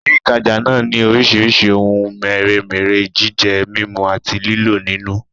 Ilé ìtajà náà ni orísìírísìí ohun mèremère jíjẹ, mímú àti lílò nínú